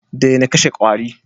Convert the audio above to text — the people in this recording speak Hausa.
Daina kashe kwari